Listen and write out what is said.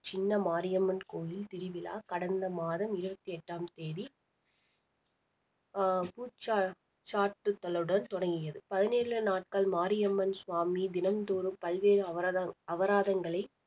சின்ன மாரியம்மன் கோவில் திருவிழா கடந்த மாதம் இருபத்தி எட்டாம் தேதி ஆஹ் பூச்சாட்~ தொடங்கியது பதினேழு நாட்கள் மாரியம்மன் சுவாமி தினந்தோறும் பல்வேறு அவராதம்~ அவராதங்களை